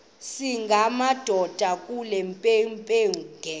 singamadoda kule mpengempenge